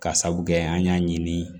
Ka sabu kɛ an y'a ɲini